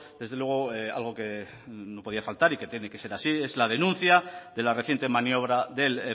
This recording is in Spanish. desde luego algo que no podía faltar y que tiene que ser así es la denuncia de la reciente maniobra del